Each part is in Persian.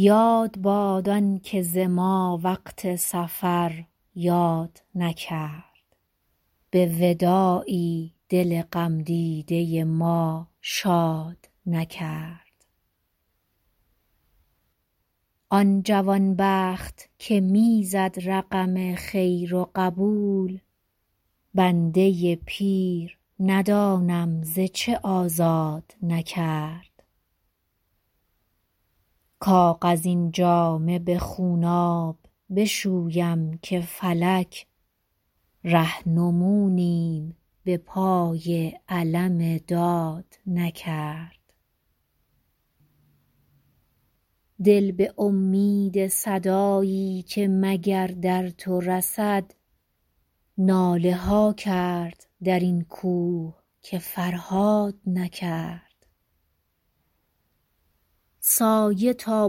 یاد باد آن که ز ما وقت سفر یاد نکرد به وداعی دل غم دیده ما شاد نکرد آن جوان بخت که می زد رقم خیر و قبول بنده پیر ندانم ز چه آزاد نکرد کاغذین جامه به خونآب بشویم که فلک رهنمونیم به پای علم داد نکرد دل به امید صدایی که مگر در تو رسد ناله ها کرد در این کوه که فرهاد نکرد سایه تا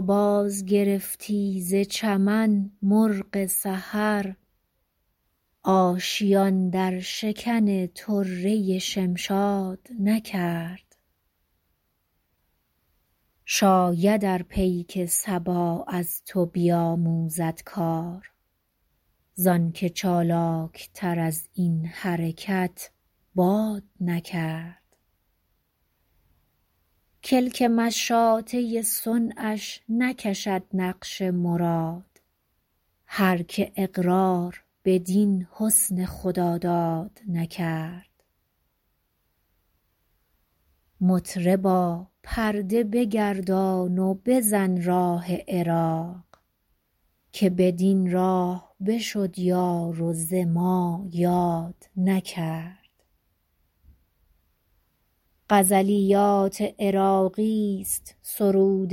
بازگرفتی ز چمن مرغ سحر آشیان در شکن طره شمشاد نکرد شاید ار پیک صبا از تو بیاموزد کار زآن که چالاک تر از این حرکت باد نکرد کلک مشاطه صنعش نکشد نقش مراد هر که اقرار بدین حسن خداداد نکرد مطربا پرده بگردان و بزن راه عراق که بدین راه بشد یار و ز ما یاد نکرد غزلیات عراقی ست سرود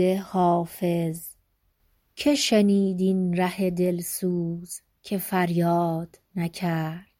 حافظ که شنید این ره دل سوز که فریاد نکرد